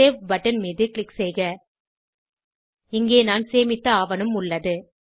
save button மீது click செய்க இங்கே நான் சேமித்த ஆவணம் உள்ளது